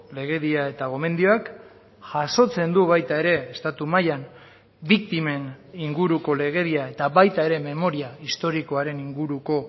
legedia eta gomendioak jasotzen du baita ere estatu mailan biktimen inguruko legedia eta baita ere memoria historikoaren inguruko